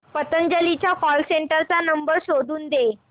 पतंजली च्या call centre चा number शोधून दे